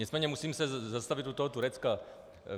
Nicméně musím se zastavit u toho Turecka.